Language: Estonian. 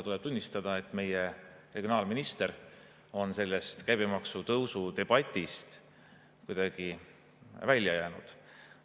Tuleb tunnistada, et meie regionaalminister on sellest käibemaksu tõusu debatist kuidagi välja jäänud.